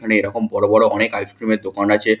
এখানে এরকম বড় বড় অনেক আইস ক্রিম -এর দোকান আছে ।